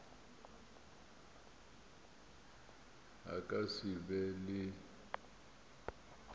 a ka se be le